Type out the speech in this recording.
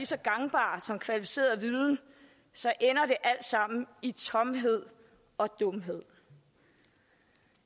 så gangbare som kvalificeret viden så ender det alt sammen i tomhed og dumhed